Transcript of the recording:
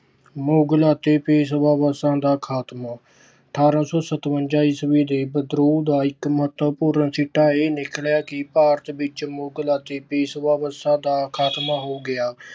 ਮੁਗਲ ਅਤੇ ਪੇਸ਼ਵਾ ਵੰਸ਼ ਦਾ ਖਾਤਮਾ- ਅਠਾਰਾਂ ਸੌ ਸਤਵੰਜਾ ਈਸਵੀ ਦੇ ਵਿਦਰੋਹ ਦਾ ਇੱਕ ਮਹੱਤਵਪੂਰਨ ਸਿੱਟਾ ਇਹ ਨਿਕਲਿਆ ਕਿ ਭਾਰਤ ਵਿੱਚ ਮੁਗਲ ਅਤੇ ਪੇਸ਼ਵਾ ਵੰਸ਼ ਦਾ ਖਾਤਮਾ ਹੋ ਗਿਆ।